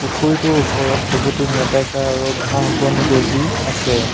পুখুৰীটোৰ ওপৰত বহুতো মেটেকা আৰু ঘাঁহ বন গজি আছে।